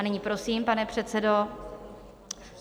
A nyní prosím, pane předsedo.